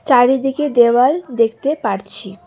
চারিদিকে দেওয়াল দেখতে পারছি।